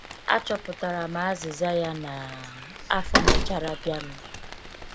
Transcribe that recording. achọpụtara m azịza ya na afọ mèchàrà bịanụ